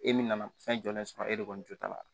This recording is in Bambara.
E min nana fɛn jɔlen sɔrɔ e de kɔni jo t'a la